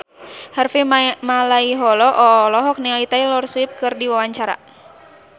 Harvey Malaiholo olohok ningali Taylor Swift keur diwawancara